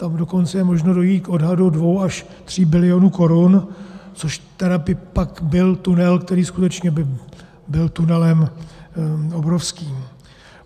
Tam dokonce je možno dojít k odhadu dvou až tří bilionu korun, což tedy pak byl tunel, který skutečně byl tunelem obrovským.